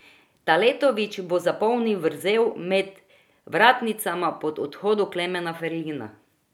Taletović bo zapolnil vrzel med vratnicama po odhodu Klemna Ferlina.